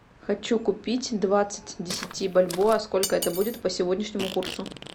хочу купить двадцать десяти бальбоа сколько это будет по сегодняшнему курсу